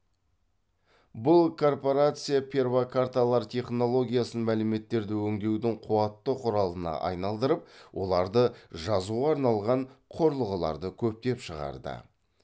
бұл корпорация перфокарталар технологиясын мәліметтерді өңдеудің қуатты құралына айналдырып оларды жазуға арналған құрылғыларды көптеп шығарды